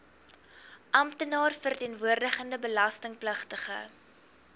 amptenaar verteenwoordigende belastingpligtige